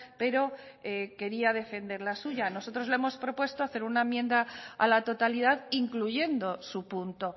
pero quería defender la suya nosotros le hemos propuesto hacer una enmienda a la totalidad incluyendo su punto